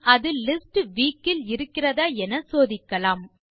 பின் அது list week இல் இருக்கிறதா என சோதிக்கலாம்